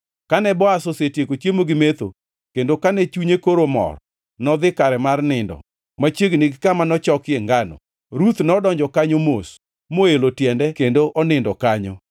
Kane Boaz osetieko chiemo gi metho, kendo kane chunye koro mor, nodhi kare mar nindo machiegni gi kama nochokie ngano. Ruth nodonjo kanyo mos, moelo tiende kendo onindo kanyo.